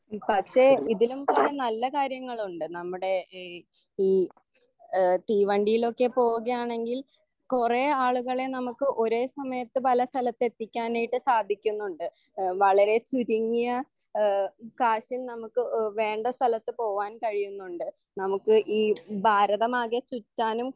പക്ഷെ ഇതിലും കുറെ നല്ല കാര്യങ്ങളുണ്ട് നമ്മുടെ ഈ എഹ് തീവണ്ടിയിലൊക്കെ പോവുകയാണെങ്കിൽ കൊറേ ആളുകളെ നമ്മുക്ക് ഒരേ സമയത്ത് പല സ്ഥലത്ത് എത്തിക്കാനിയിട്ട് സാധിക്കുന്നുണ്ട് വളരെ ചുരുങ്ങിയ എഹ് കാഷും നമ്മുക്ക് എഹ് വേണ്ട സ്ഥലത്ത് പോവാൻ കഴിയുന്നുണ്ട് നമ്മുക്ക് ഈ ഭാരതമാകെ ചുറ്റാനും